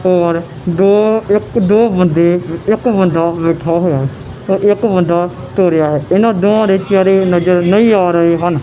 ਹੋਰ ਦੋ ਇੱਕ ਦੋ ਬੰਦੇ ਇੱਕ ਬੰਦਾ ਬੈਠਾ ਹੋਇਆ ਅਤੇ ਇੱਕ ਬੰਦਾ ਤੁਰ ਰਿਹਾ ਹੈ ਇਹਨਾਂ ਦੋਹਾਂ ਦੇ ਚੇਹਰੇ ਨਜ਼ਰ ਨਹੀਂ ਆ ਰਹੇ ਹਨ।